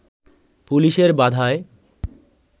পুলিশের বাধায়